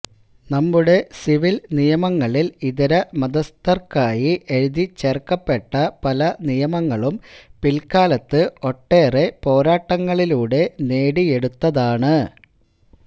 നമ്മുടെ സിവില് നിയമങ്ങളില് ഇതര മതസ്ഥര്ക്കായി എഴുതിച്ചേര്ക്കപ്പെട്ട പല നിയമങ്ങളും പില്ക്കാലത്ത് ഒട്ടേറെ പോരാട്ടങ്ങളിലൂടെ നേടിയെടുത്തതാണ്